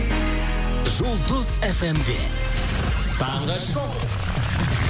жұлдыз эф эм де таңғы шоу